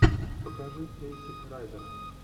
покажи эйсид райдера